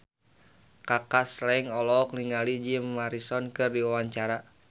Kaka Slank olohok ningali Jim Morrison keur diwawancara